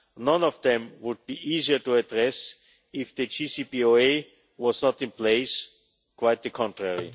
None of them would be easier to address if the JCPOA was not in place quite the contrary.